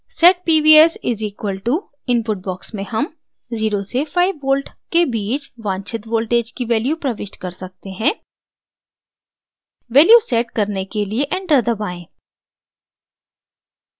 set pvs = input box में हम 0 से 5v के बीच वांछित voltage की value प्रविष्ट कर सकते हैं value set करने के लिए enter दबाएँ